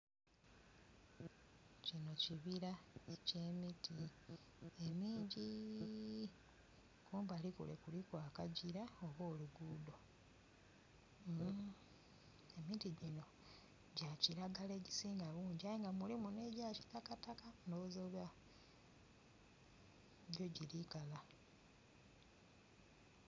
Kino kibira ekye miti emingi. Kumbali kuno kuliku akagira oba luguudho. Emiti gino gya kilagala egisinga bungi aye nga mulimu ne gya kitakataka ndho ghoza oba gyo tigikala.